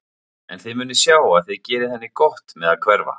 En þið munuð sjá að þið gerið henni gott með að hverfa.